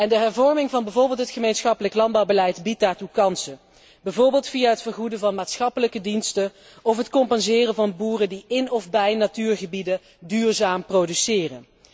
De hervorming van bijvoorbeeld het gemeenschappelijk landbouwbeleid biedt daartoe kansen, bijvoorbeeld via het vergoeden van maatschappelijke diensten of het compenseren van boeren die in of bij natuurgebieden duurzaam produceren.